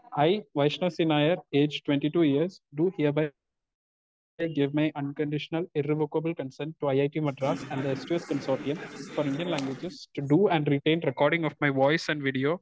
E, Vaishnav C Nair age twenty two years do hereby give my unconditional irrevocable consent to IIT Madras and the S two S consortium for Indian languages to do and written recording of my voice and video